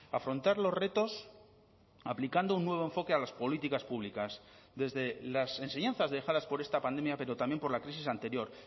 afrontar los retos aplicando un nuevo enfoque a las políticas públicas desde las enseñanzas dejadas por esta pandemia pero también por la crisis anterior